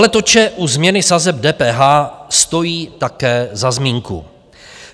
Veletoče u změny sazeb DPH stojí také za zmínku.